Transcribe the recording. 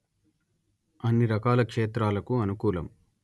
అన్ని రకాల క్షేత్రాలకు అనుకూలం